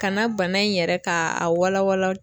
Ka na bana in yɛrɛ k'a wala wala